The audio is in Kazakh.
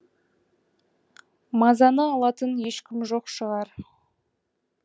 мазаны алатын ешкім жоқ шығар